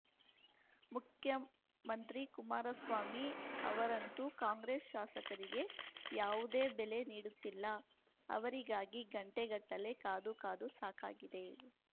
ಮುಖ್ಯಮಂತ್ರಿ ಕುಮಾರಸ್ವಾಮಿ ಅವರಂತೂ ಕಾಂಗ್ರೆಸ್‌ ಶಾಸಕರಿಗೆ ಯಾವುದೇ ಬೆಲೆ ನೀಡುತ್ತಿಲ್ಲ ಅವರಿಗಾಗಿ ಗಂಟೆ ಗಟ್ಟಲೇ ಕಾದು ಕಾದು ಸಾಕಾಗಿದೆ